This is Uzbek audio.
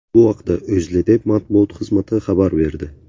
Bu haqda O‘zLiDeP matbuot xizmati xabar berdi .